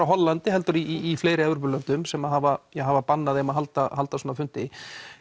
Hollandi heldur í fleiri Evrópulöndum sem hafa hafa bannað að halda halda svona fundi